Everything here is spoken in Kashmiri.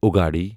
اُگاڑی